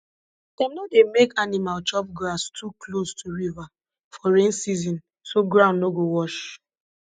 dem no dey make animal chop grass too close to river for rain season so ground no go wash